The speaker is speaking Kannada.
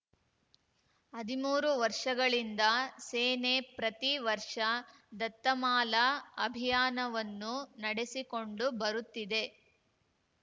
ಹದಿಮೂರು ವರ್ಷಗಳಿಂದ ಸೇನೆ ಪ್ರತಿ ವರ್ಷ ದತ್ತಮಾಲಾ ಅಭಿಯಾನವನ್ನು ನಡೆಸಿಕೊಂಡು ಬರುತ್ತಿದೆ